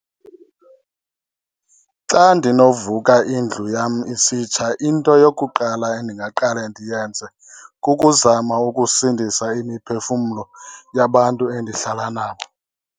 Xa ndinovuka indlu yam isitsha into yokuqala endingaqale ndiyenze kukuzama ukusindisa imiphefumlo yabantu endihlala nabo.